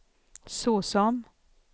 såsom